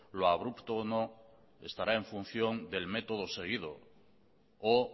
lo abrupto o no estará en función del método seguido o